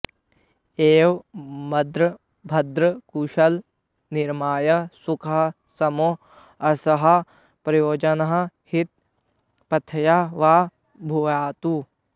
एवं मद्रं भद्रं कुशलं निरामयं सुखं शम् अर्थः प्रयोजनं हितं पथ्यं वा भूयात्